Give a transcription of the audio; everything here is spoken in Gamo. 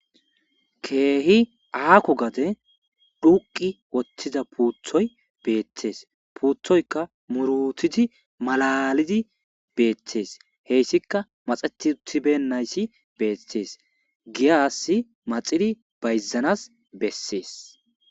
Kehi akko gadden dhuuqqi wottida puuttoy bettes puutokka muurutidi maallalidi bettes hessika maaxetti uttibeynayssi bettes giiyassi maxxe idi bayzanassi bessesi.